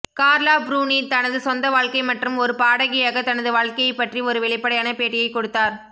கார்லா Bruni தனது சொந்த வாழ்க்கை மற்றும் ஒரு பாடகியாக தனது வாழ்க்கையைப் பற்றி ஒரு வெளிப்படையான பேட்டியை கொடுத்தார்